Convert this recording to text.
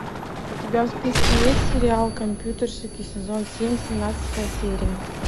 у тебя в списке есть сериал компьютерщики сезон семь семнадцатая серия